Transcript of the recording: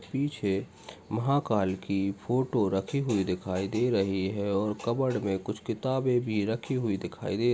पीछे महाकाल की फोटो रखी हे दिखाई दे रही हैं और कप्बोर्ड में कुछ किताबे भी रखी हुई दिखाई दे रही हैं।